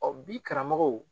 Ɔ bi karamɔgɔw